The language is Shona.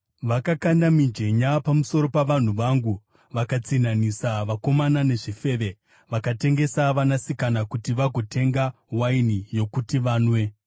Vakakanda mijenya pamusoro pavanhu vangu, vakatsinhanisa vakomana nezvifeve; vakatengesa vanasikana kuti vagotenga waini yokuti vanwe.